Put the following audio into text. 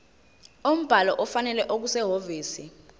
umbhalo ofanele okusehhovisi